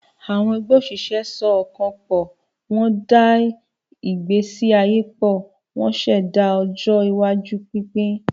Àwọn ẹgbẹ́ òṣìṣẹ́ so ọkàn pọ̀, wọ́n da ìgbésí ayé pọ̀, ṣẹ̀dá ọjọ́ iwájú pínpín.